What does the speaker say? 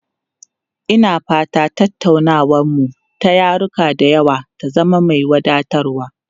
Ina fata tattaunawarmu ta yaruka da yawa ta zama mai wadatarwa.